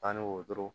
Tan ni woro